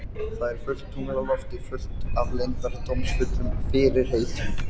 Það er fullt tungl á lofti, fullt af leyndardómsfullum fyrirheitum.